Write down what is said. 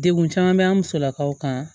Degun caman bɛ an musolakaw kan